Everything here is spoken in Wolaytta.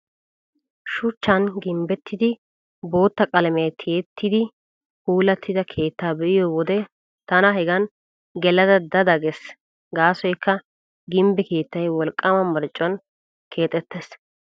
Shuchchan gimbbettidi bootta qalamiyaa tiyettidi puulattida keettaa be'iyo wode tana hegan gelada da da gees. Gaasoykka gimbbe keettay wolqqaama marccuwaan keexettees.